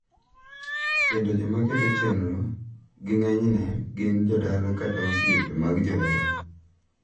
Kendo jomaketo chenro gi ng`enyne gin jodala kata osiepe mag joheragi.